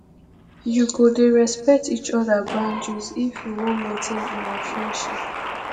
you go dey respect each oda boundaries if you wan maintain una friendship